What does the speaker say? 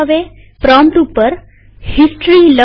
prompt ઉપર history લખો